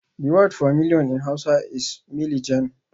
The word for million in hausa is milijan